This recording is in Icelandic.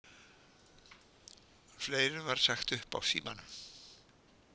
Fleirum var sagt upp á Símanum